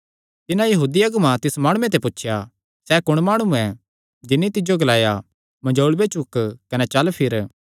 तिन्हां यहूदी अगुआं तिस माणुये ते पुछया सैह़ कुण माणु ऐ जिन्नी तिज्जो ग्लाया मंजोल़ूये चुक कने चल फिर